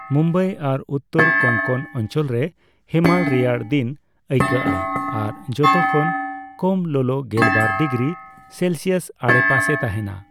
ᱢᱩᱢᱵᱟᱭ ᱟᱨ ᱩᱛᱴᱚᱨ ᱠᱳᱝᱠᱚᱱ ᱚᱧᱪᱚᱞ ᱨᱮ ᱦᱮᱢᱟᱞ ᱨᱮᱭᱟᱲ ᱫᱤᱱ ᱟᱹᱭᱠᱟᱹᱜᱼᱟ ᱟᱨ ᱡᱷᱚᱛᱚ ᱠᱷᱚᱱ ᱠᱚᱢ ᱞᱚᱞᱚ ᱜᱮᱞᱵᱟᱨ ᱰᱤᱜᱨᱤ ᱥᱮᱞᱥᱤᱭᱟᱥ ᱟᱰᱮᱯᱟᱥᱮ ᱛᱟᱸᱦᱮᱱᱟ ᱾